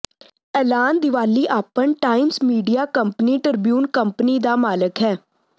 ਐਲਾਨ ਦੀਵਾਲੀਆਪਨ Times Media company Tribune company ਦਾ ਮਾਲਕ ਹੈ